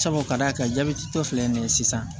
Sabu ka d'a ka jabɛti tɔ filɛ nin ye sisan